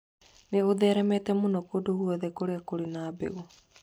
Nĩ ũtheremete mũno kũndũ guothe kũrĩa kũrĩ na mbegũ.